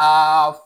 Aa